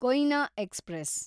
Koyna express